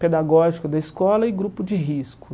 pedagógico da escola e grupo de risco.